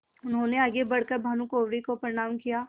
उन्होंने आगे बढ़ कर भानुकुँवरि को प्रणाम किया